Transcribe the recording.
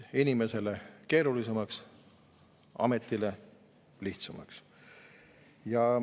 Inimesele keerulisemaks, ametile lihtsamaks.